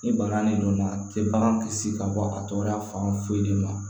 Ni bana nin donna a te bagan kisi ka bɔ a tɔgɔya fan foyi de ma